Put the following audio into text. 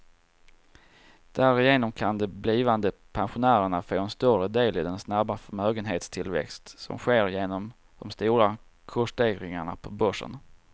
Därigenom kan de blivande pensionärerna få en större del i den snabba förmögenhetstillväxt som sker genom de stora kursstegringarna på börsen.